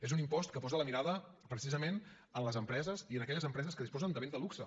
és un impost que posa la mirada precisament en les empreses i en aquelles empreses que disposen de béns de luxe